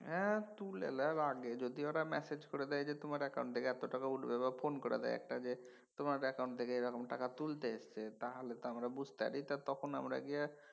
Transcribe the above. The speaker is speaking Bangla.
হ্যা তুলে নেওয়ার আগে যদি ওরা ম্যাসেজ করে দেয় যে তোমার অ্যাকাউন্ট এত টাকা উঠবে বা ফোন করে দেয় একটা যে তোমার অ্যাকাউন্ট থেকে এরকম টাকা তুলতে এসছে তাহলে তো আমরা বুঝতে পারি তখন আমরা গিয়া